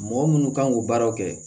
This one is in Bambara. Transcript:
Mɔgɔ minnu kan k'u baaraw kɛ